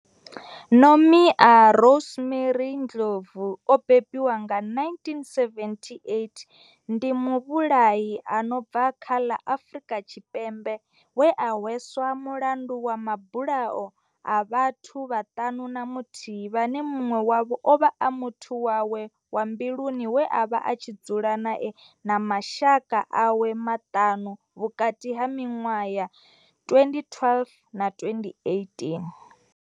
Nomia Rosemary Ndlovu o bebiwaho nga, 1978, ndi muvhulahi a no bva kha ḽa Afriika Tshipembe we a hweswa mulandu wa mabulayo a vhathu vhaṱanu na muthihi vhane munwe wavho ovha a muthu wawe wa mbiluni we avha a tshi dzula nae na mashaka awe maṱanu, vhukati ha minwaha ya 2012 na 2018.